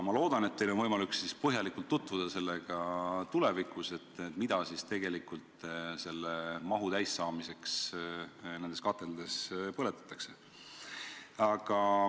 Ma loodan, et teil on võimalik tulevikus põhjalikult tutvuda sellega, mida selle mahu täissaamiseks nendes kateldes põletatakse.